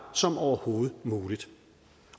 som overhovedet muligt